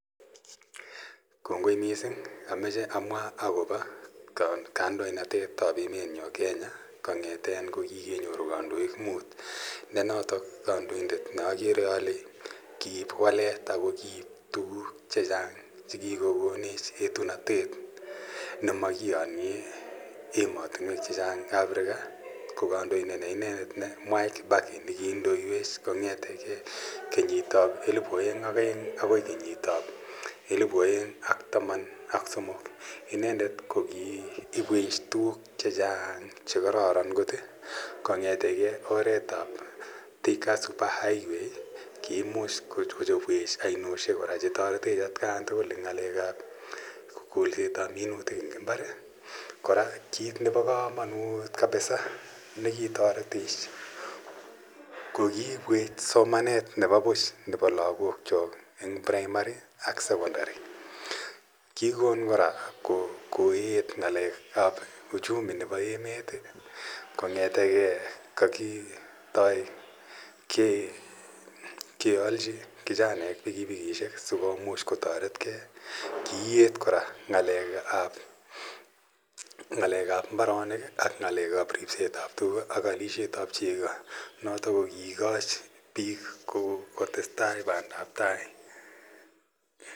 Kongoi missing amache amwa kopa kandoinatetap emet nyo Kenya. Kong'eten ko kikenyoru kandoik muut. Ne notok kandoindet ne akere ale kiip walet ako kiip tuguk che chang' che kikokonech etunatet. Ne makiyanyei ematinwek che chang' en Africa ko kandoindet ne inendet Mwai Kibaki ne kiindoiwech kong, ete kenyit ap elipu aeng' ak aeng' akoi kenyit ap elipu aeng' ak taman ak somok. Inendet ko kiipwech tugun che chang' che kararan kot kong'ete ke oret ap Thika Super Highway, kiimuch kochepwech ainoshek kora che taretet atian tugul eng' ng'alek ap kolset ap minitik eng' imbar. Kora kiit nepo kamanut kabisa ne kitaretech ko kiipwech somanet nepo puch nepo lagokchok eng' praimari ak sekondari. Kikon kora koeet ng'alek ap uchumi nepo emet kong'ete ge kakitoi kealchi kichanaek pikipikishek asikomuch kotaret gei. Kiiet kora ng'alekap mbaronik ak ng'alek ap ripset ap tug ak alishetao cheko, notok ko kiikachi piik kotes tai ak pandaptai.